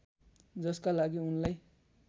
जसका लागि उनलाई